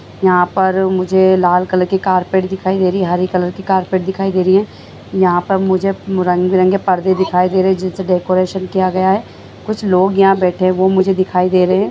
हां पार मुझे लाल कलर का कारपेट दिख रहा है यहां मुझे हरे कलर का कारपेट दिख रहा है यहां पार मुझे रंग बिरंग पर्दे देख रहा हूं डेकोरेशन की गई है कुछ लोग यहां बैठे हैं मैं देख रहा हूं ।